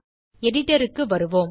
editorக்கு வருவோம்